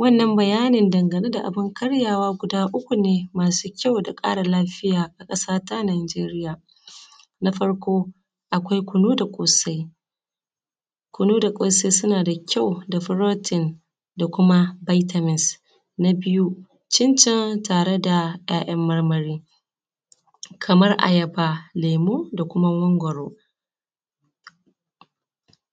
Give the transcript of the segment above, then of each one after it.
Wannan bayanin dangane da abun karyawa guda uku ne masu kyau da ƙara lafiya, a ƙasa ta Najeriya. Na farko akwai kunu da ƙosai, kunu da ƙosai suna da kyau da protein da kuma vitamins. Na biyu cincin tare da 'ya'yan marmari kaman ayaba, lemu, da kuma mangwaro,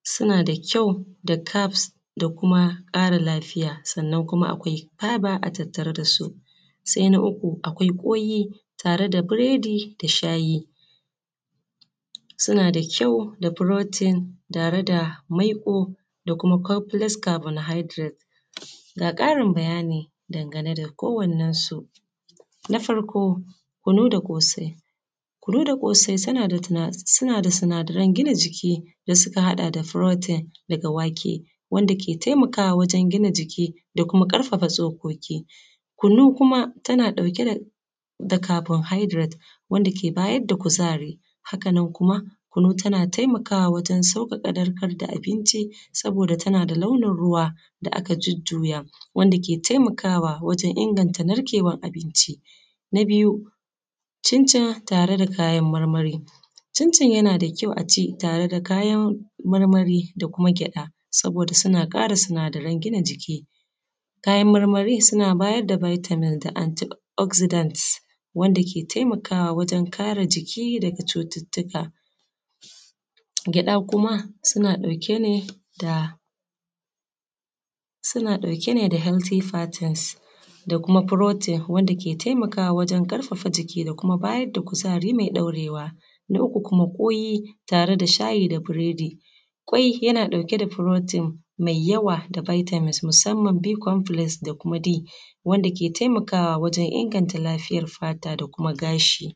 suna da kyau da carbs da kuma ƙara lafiya, sannan kuma akwai fiber a tattare da su. Sai na uku akwai ƙwai tare da biredi da shayi, suna da kyau da protein tare da maiƙo da, kuma complex carbohydrate. Ga ƙarin bayani dangane da kowannensu. Na farko kunu da ƙosai, kunu da ƙosai suna da sinadaran gina jiki da suka haɗa da protein daga wake, wanda ke taimakawa wajen gina jiki da kuma ƙarfafa tsokoki. Kunu kuma tana ɗauke da carbohydrate wanda ke bayar da kuzari, haka nan kuma kunu tana taimakawa wajen sauƙaƙa narkar da abinci, saboda tana da launin ruwa da aka jujjuya wanda ke taimakawa wajen inganta narkewan abinci. Na biyu cincin tare da kayan marmari. Cincin yana da kyau a ce tare da kayan marmari da kuma gyaɗa saboda suna ƙara sinadaran gina jiki, kayan marmari suna bada vitamin da antioxidant wanda ke taimakawa wajen kare jiki daga cututtuka, gyaɗa kuma suna ɗauke ne da healthy fattens da kuma protein wanda ke taimakawa wajen ƙarfafa jiki da kuma bayar da kuzari mai ɗaurewa. Na uku kuma ƙwai tare da shayi da biredi. Ƙwai yana ɗauke da protein mai yawa da vitamins musamman b complex da kuma d wanda ke taimakawa wajen inganta lafiyar fata da kuma gashi.